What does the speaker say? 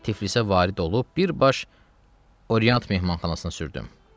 Tiflisə varid olub birbaş Oriant Mehmanxanasına sürdüm.